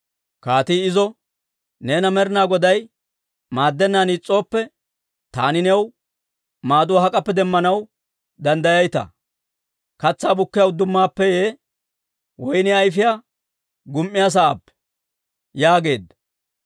Kaatii izo, «Neena Med'ina Goday maaddennaan is's'ooppe, taani new maaduwaa hak'appe demmanaw danddayayitaa? Katsaa bukkiyaa uddumaappeeyye, woyniyaa ayfiyaa gum"iyaa sa'aappee?» yaageedda.